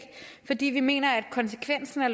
fordi vi mener at konsekvensen af